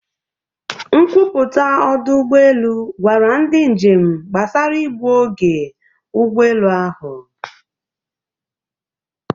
Nkwupụta ọdụ ụgbọ elu gwara ndị njem gbasara igbu oge ụgbọ elu ahụ.